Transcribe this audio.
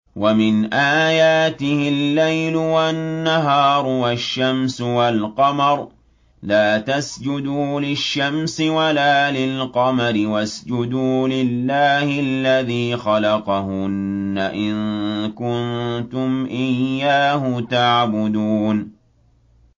وَمِنْ آيَاتِهِ اللَّيْلُ وَالنَّهَارُ وَالشَّمْسُ وَالْقَمَرُ ۚ لَا تَسْجُدُوا لِلشَّمْسِ وَلَا لِلْقَمَرِ وَاسْجُدُوا لِلَّهِ الَّذِي خَلَقَهُنَّ إِن كُنتُمْ إِيَّاهُ تَعْبُدُونَ